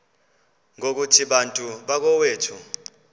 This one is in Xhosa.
ngokuthi bantu bakowethu